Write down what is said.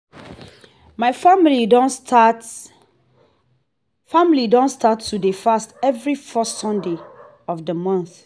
my family don start family don start to dey fast every first sunday of the month